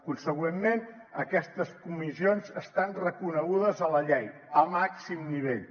consegüentment aquestes comissions estan reconegudes a la llei al màxim nivell